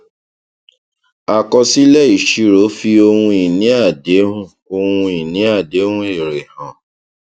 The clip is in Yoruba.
àkọsílẹìṣirò fi ohun ìní àdéhùn ohun ìní àdéhùn èrè hàn